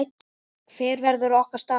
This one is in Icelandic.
Hver verður okkar staða?